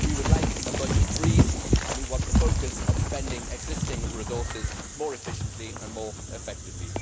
We would like a budget freeze, and we want the focus on spending existing resources more efficiently and more effectively.